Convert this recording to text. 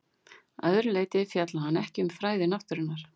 Að öðru leyti fjallaði hann ekki um fræði náttúrunnar.